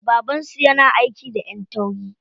Baban su yana aiki da ƴan tauri.